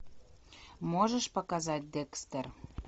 можешь показать декстер